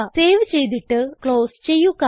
save ചെയ്തിട്ട് close ചെയ്യുക